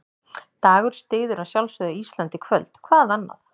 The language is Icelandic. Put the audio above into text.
Dagur styður að sjálfsögðu Ísland í kvöld, hvað annað?